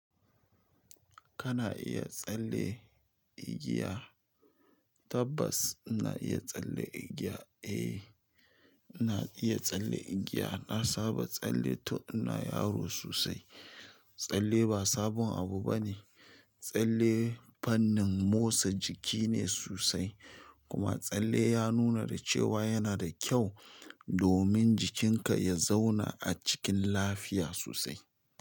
Kana iya tsalle igiya? Tabbas ina iya tsalle igiya. Eh, ina iya tsalle igiya. Na saba tsalle tun ina yaro sosai. Tsalle ba sabon abu ba ne. Tsalle fannin motsa jiki ne sosai kuma tsalle ya nuna da cewa yana da kyau domin jikinka ya zauna a cikin lafiya sosai.